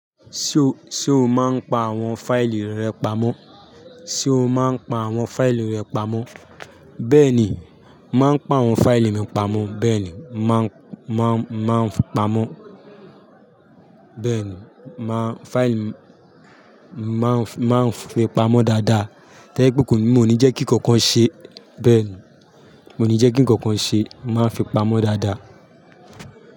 Ṣé o, ṣe o máa ń pa àwọn fáìlì rẹ pamọ́? Ṣé o máa ń pa àwọn fáìlì rẹ pamọ́? Bẹ́ẹ̀ ni, màá ń pa àwọn fáìlì mi pamọ́. Bẹ́ẹ̀ ni, màá ń, màá ń, màá ń pamọ́. Bẹ́ẹ̀ ni, màá fáìlì máà ń, máá ń fi pamọ́ dáadáa. Láyé tí pé kò ní, mo ní jẹ́ kí nǹkan ṣe. Bẹ́ẹ̀ ni, mo ní jẹ́ kí nǹkan ṣe. Màá fi pamọ́ dáadáa.